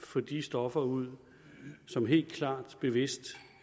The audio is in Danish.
få de stoffer ud som helt klart bevist